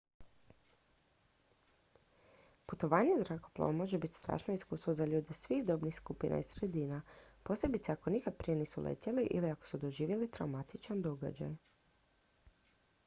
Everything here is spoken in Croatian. putovanje zrakoplovom može biti strašno iskustvo za ljude svih dobnih skupina i sredina posebice ako nikad prije nisu letjeli ili ako su doživjeli traumatičan događaj